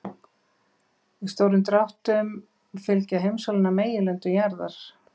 Í stórum dráttum fylgja heimsálfurnar meginlöndum jarðar.